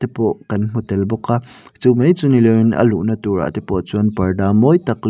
te pawh kan hmu tel bawk a chu mai chu mi loin a luhna turah te pawh chuan parda mawi tak leh--